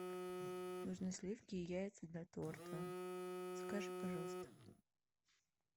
нужны сливки и яйца для торта закажи пожалуйста